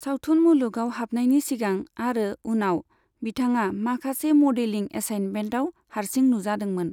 सावथुन मुलुगाव हाबनायनि सिगां आरो उनाव, बिथाङा माखासे मडेलिं एसाइनमेन्टआव हारसिं नुजादोंमोन।